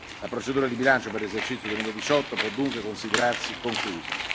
La procedura di bilancio per l'esercizio 2018 può dunque considerarsi conclusa.